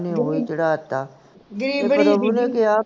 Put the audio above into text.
ਓਹਨੇ ਓਹੀ ਚੜਾਤਾ ਤੇ ਪ੍ਰਭੂ ਨੇ ਕਿਹਾ